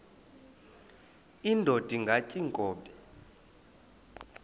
indod ingaty iinkobe